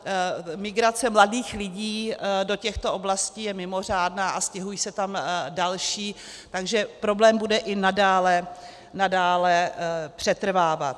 Migrace mladých lidí do těchto oblastí je mimořádná a stěhují se tam další, takže problém bude i nadále přetrvávat.